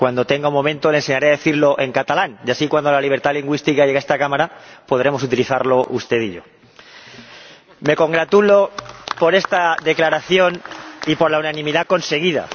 Cuando tenga un momento le enseñaré a decirlo en catalán y así, cuando la libertad lingüística llegue a esta Cámara, podremos utilizarlo usted y yo. Me congratulo por esta declaración y por la unanimidad conseguida.